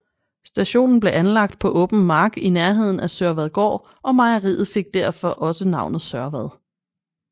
Stationen blev anlagt på åben mark i nærheden af Sørvadgård og mejeriet og fik derfor også navnet Sørvad